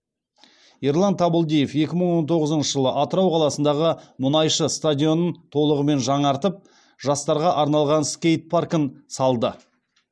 ерлан табылдиев екі мың он тоғызыншы жылы атырау қаласындағы мұнайшы стадионын толығымен жаңартып жастарға арналған скейт паркін салды